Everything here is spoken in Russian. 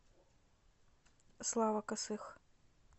слава косых